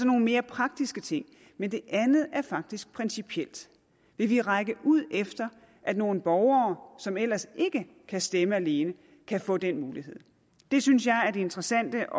nogle mere praktiske ting men det andet er faktisk principielt vil vi række ud efter at nogle borgere som ellers ikke kan stemme alene kan få den mulighed det synes jeg er det interessante